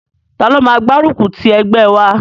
Taló máa máa gbárùkù ti ẹgbẹ́ wa?